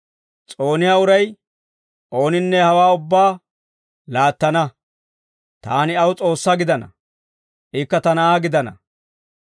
S'ooniyaa uray ooninne hawaa ubbaa laattana. Taani aw S'oossaa gidana; ikka ta na'aa gidana.